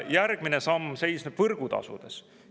Järgmine samm seisneb võrgutasudes.